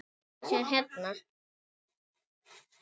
Rauk bara í burtu.